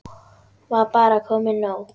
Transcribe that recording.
Var bara komið nóg?